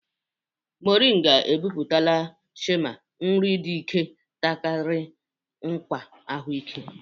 Moringa epupụta shima; nri di ike takiri nkwa ahụike.